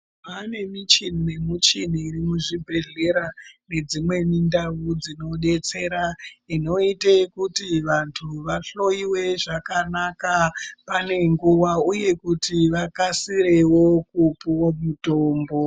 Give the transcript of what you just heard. Kwane michini nemichini iri muzvibhehleya nedzimweni ndau dzinodetsera inoite kuti vantu vahloiwe zvakanaka pane nguwa uye kuti vakasirewo kupuwa mitombo.